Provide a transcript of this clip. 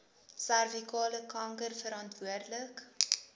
servikale kanker verantwoordelik